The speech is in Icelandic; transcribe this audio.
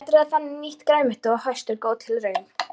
Að matreiða þannig nýtt grænmeti að hausti er góð tilbreyting.